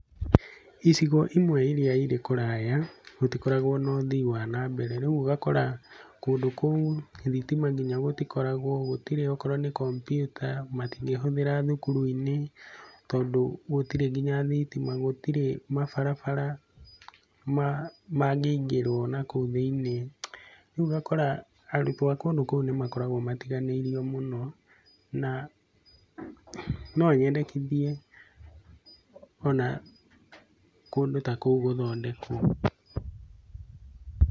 Icigo imwe iria irĩ kũraya, gũtikoragwo na ũthii wa nambere. Rĩu ũgakora kũndũ kũu thitima nginya gũtikoragwo, gũtirĩ okorwo nĩ kombiuta matingĩhũthĩra thukuru-inĩ tondũ gũtirĩ nginya thitima. Gũtirĩ mabarabara mangĩingĩrwo nakũu thĩinĩ. Rĩu ũgakora arutwo a kũndũ kũu nĩ makoragwo matiganĩirio mũno, na no nyendekithie ona kũndu ta kũu gũthondekwo.